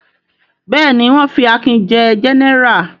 Bẹ́ẹ̀ ni, wọ́n fi Akin jẹ gẹ́nẹrà.